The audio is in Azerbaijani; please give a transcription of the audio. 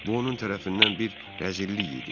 Bu onun tərəfindən bir rəzillik idi.